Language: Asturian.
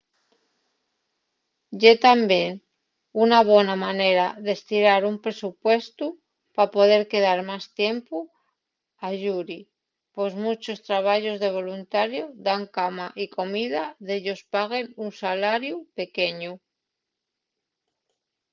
ye tamién una bona manera d’estirar un presupuestu pa poder quedar más tiempu ayuri pos munchos trabayos de voluntariu dan cama y comida y dellos paguen un salariu pequeñu